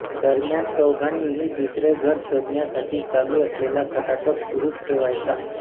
दरम्यान चौघांनीही दुसरे घर शोधण्यासाठी चालू असलेला खटाटोप सुरूच ठेवायचा